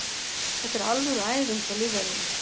Þetta er alvöru æfing hjá lífverðinum.